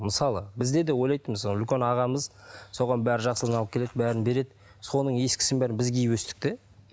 мысалы бізде де ойлайтынбыз сол үлкен ағамыз соған бәрі жақсысын алып келеді бәрін береді соның ескісін бәрін біз киіп өстік те